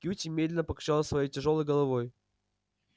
кьюти медленно покачал своей тяжёлой головой